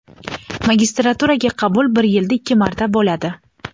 Magistraturaga qabul bir yilda ikki marta bo‘ladi.